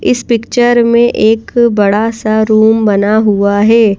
इस पिक्चर में एक बड़ा सा रूम बना हुआ है।